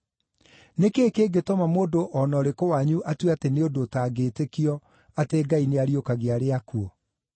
Nĩ kĩĩ kĩngĩtũma mũndũ o na ũrĩkũ wanyu atue atĩ nĩ ũndũ ũtangĩĩtĩkio, atĩ Ngai nĩariũkagia arĩa akuũ?